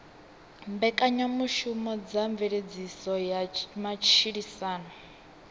mbekanyamushumo dza mveledziso ya matshilisano